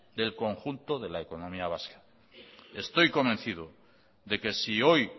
del conjunto de la economía vasca estoy convencido de que si hoy